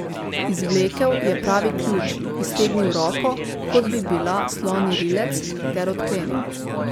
Izvlekel je pravi ključ, iztegnil roko, kot bi bila slonji rilec, ter odklenil.